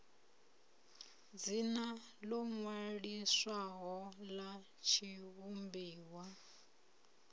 dzina ḽo ṅwaliswaho ḽa tshivhumbiwa